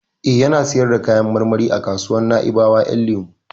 Eh, yana sayar da kayan marmari a kasuwar Naibawa Ƴan lemu.